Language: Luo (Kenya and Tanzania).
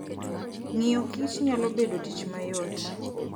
Ng'iyokich nyalo bedo tich mayot.